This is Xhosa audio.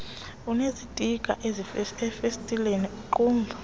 enezitikha ezifestileni iingqumba